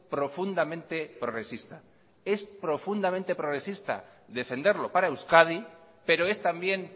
profundamente progresista es profundamente progresista defenderlo para euskadi pero es también